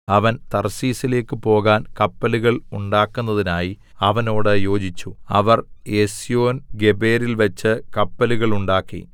അവൻ തർശീശിലേക്ക് പോകാൻ കപ്പലുകൾ ഉണ്ടാക്കുന്നതിനായി അവനോട് യോജിച്ചു അവർ എസ്യോൻഗേബെരിൽവെച്ച് കപ്പലുകളുണ്ടാക്കി